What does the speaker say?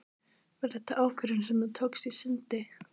Var þetta ákvörðun sem þú tókst í skyndi?